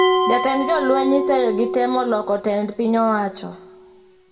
Jatend jolweny iseyo gi temo loko tend piny owacho